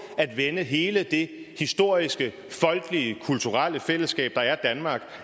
at vende hele det historiske folkelige kulturelle fællesskab der er danmark